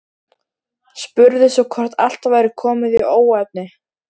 Spurði svo hvort allt væri komið í óefni.